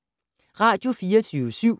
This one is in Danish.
Radio24syv